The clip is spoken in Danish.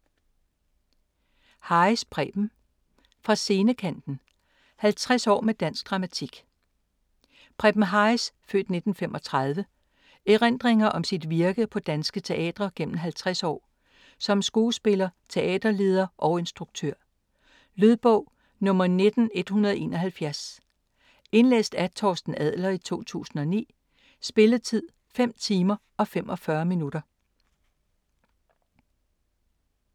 Harris, Preben: Fra scenekanten: 50 år med dansk dramatik Preben Harris' (f. 1935) erindringer om sit virke på danske teatre gennem 50 år, som skuespiller, teaterleder og instruktør. Lydbog 19171 Indlæst af Torsten Adler, 2009. Spilletid: 5 timer, 45 minutter.